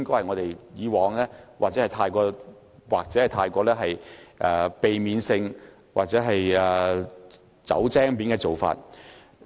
我希望未來我們可以避免這種"走精面"的做法。